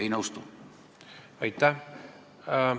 Aitäh!